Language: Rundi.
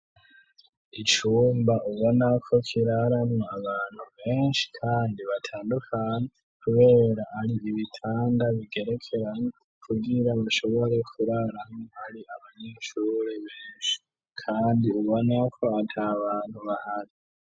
Icumba ubona ko kiraramwo abantu benshi kandi batandukane kubera ari ibitanda bigerekeran kubwira bashobore kurarano ari abanyeshure benshi kandi ubona ko atabantu bahari.